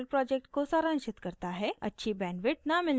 यह video spoken tutorial project को सारांशित करता है